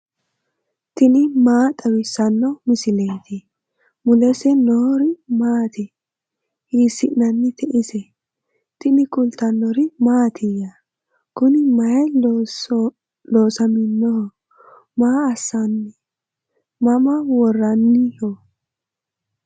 tini maa xawissanno misileeti ? mulese noori maati ? hiissinannite ise ? tini kultannori mattiya? Kuni mayii loosamminnoho? Maa assanni? Mama woraanniho?